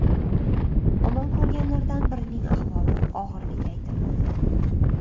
Omon qolganlardan birining ahvoli og‘irligi aytilmoqda.